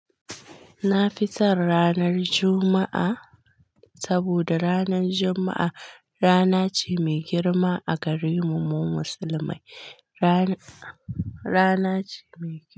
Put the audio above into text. Na fi son ranar Juma'a, saboda ranar Juma'a rana ce mai girma a gare mu musulmai. Rana rana ce mai.